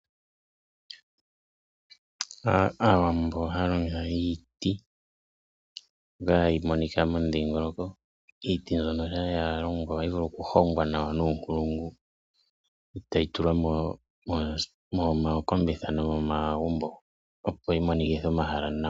Aawambo ohaya longitha iiti mbi hayi monika momudhingoloko iiti mbyono sha yalongwa ohayi vulu okuhongwa nawa nuunkulungu etayi tulwa mookombitha nomomagumbo opo yi monikithe omahala nawa.